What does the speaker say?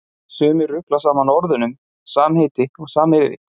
Sumir rugla saman orðunum samheiti og samyrði.